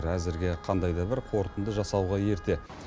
әзірге қандай да бір қорытынды жасауға ерте